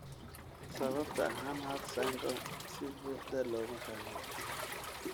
Sababta Hanhart syndrome si buuxda looma fahmin.